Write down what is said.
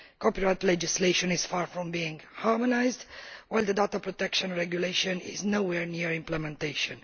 Corporate legislation is far from being harmonised, while the data protection regulation is nowhere near implementation.